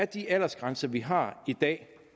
de aldersgrænser vi har i dag